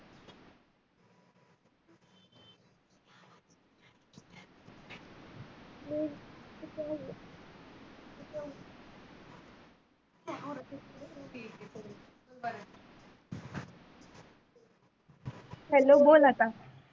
hello बोल आत्ता.